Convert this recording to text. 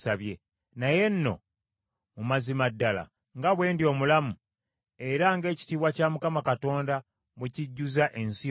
Naye nno mu mazima ddala nga bwe ndi omulamu, era ng’ekitiibwa kya Mukama Katonda bwe kijjuza ensi yonna,